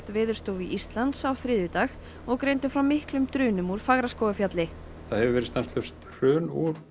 Veðurstofu Íslands á þriðjudag og greindu frá miklum drunum úr Fagraskógarfjalli það hefur verið stanslaust hrun